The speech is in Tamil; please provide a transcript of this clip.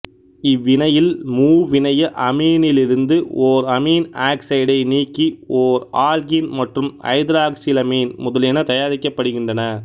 இவ்வினையில் மூவிணைய அமீனிலிருந்து ஓர் அமீன் ஆக்சைடை நீக்கி ஓர் ஆல்கீன் மற்றும் ஐதராக்சிலமீன் முதலியன தயாரிக்கப்படுகின்றன